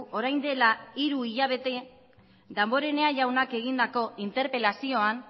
orain dela hiru hilabete damborenea jaunak egindako interpelazioan